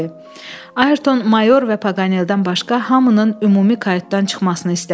Ayerton mayor və Paqaneldən başqa hamının ümumi kayutdan çıxmasını istədi.